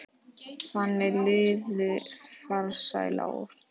Þannig liðu farsæl ár.